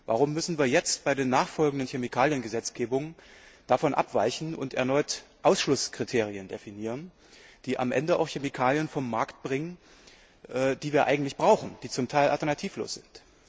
Warum müssen wir jetzt bei den nachfolgenden Chemikaliengesetzgebungen davon abweichen und erneut Ausschlusskriterien definieren, die am Ende auch Chemikalien vom Markt bringen, die wir eigentlich brauchen und die zum Teil alternativlos sind?